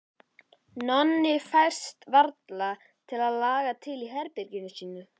Nonni fæst varla til að laga til í herberginu sínu.